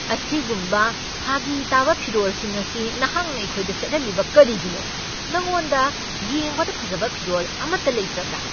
ꯑꯁꯤꯒꯨꯝꯕ ꯐꯥꯒꯤ ꯇꯥꯕ ꯐꯤꯔꯣꯜꯁꯤꯡ ꯑꯁꯤ ꯅꯍꯥꯛꯅ ꯑꯩꯈꯣꯏꯗ ꯁꯦꯠꯍꯜꯂꯤꯕ ꯀꯔꯤꯒꯤꯅꯣ? ꯅꯉꯣꯟꯗ ꯌꯦꯡꯕꯗ ꯐꯖꯕ ꯐꯤꯔꯣꯜ ꯑꯃꯠꯇ ꯂꯩꯇꯕ꯭ꯔꯥ?